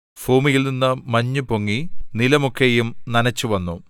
ഭൂമിയിൽനിന്നു മഞ്ഞു പൊങ്ങി നിലം ഒക്കെയും നനച്ചുവന്നു